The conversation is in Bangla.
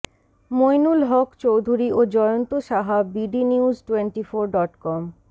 মঈনুল হক চৌধুরী ও Jayanta Saha bdnews twenty four dot com